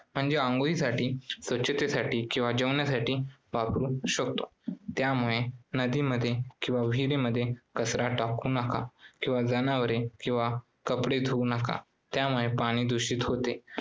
म्हणजे अंघोळीसाठी, स्वच्छतेसाठी किंवा जेवणासाठी वापरू शकतो. त्यामुळे नदीमध्ये किंवा विहिरीमध्ये कचरा टाकू नका किंवा जनावरे किंवा कपडे धुवू नका त्यामुळे पाणी दुषित होते